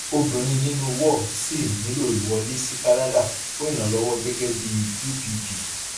obìnrin nínú war ṣì nílò ìwọlé sí kánádà fún ìrànlọwọ gẹgẹ bí upp